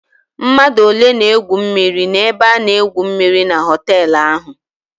Mmadụ ole na-egwu mmịrị n'ebe a na-egwu mmịrị na họtelụ ahụ?